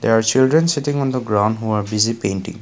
there children's sitting on the ground who are busy painting.